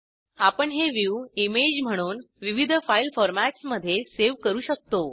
आपण हे view image म्हणून विविध फाईल फॉरमॅट्समध्ये सेव्ह करू शकतो